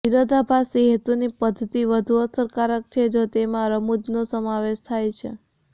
વિરોધાભાસી હેતુની પદ્ધતિ વધુ અસરકારક છે જો તેમાં રમૂજનો સમાવેશ થાય છે